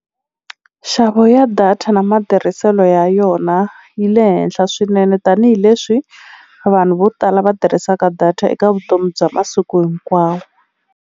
Nxavo ya data na matirhiselo ya yona yi le henhla swinene tanihileswi vanhu vo tala va tirhisaka data eka vutomi bya masiku hinkwawo.